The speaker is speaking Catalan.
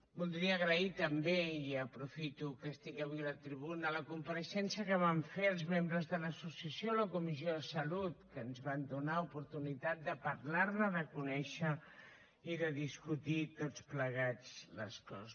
voldria agrair també i aprofito que estic avui a la tribuna la compareixença que van fer els membres de l’associació a la comissió de salut que ens van donar oportunitat de parlar ne de conèixer i de discutir tots plegats les coses